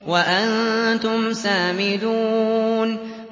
وَأَنتُمْ سَامِدُونَ